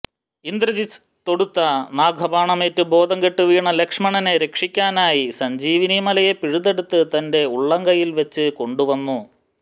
ഇന്ദ്രജിത്ത് തൊടുത്ത നാഗബാണമേറ്റ് ബോധം കെട്ട് വീണ ലക്ഷ്മണനെ രക്ഷിക്കാനായി സഞ്ജീവി മലയെ പിഴുതെടുത്ത് തന്റെ ഉള്ളംകയ്യില് വെച്ച് കൊണ്ടുവന്നു